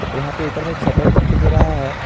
और यहां पे ऊपर में एक शटर दिखाई दे रहा है।